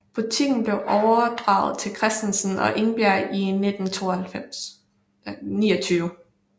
Butikken blev overdraget til Christensen og Engberg i 1929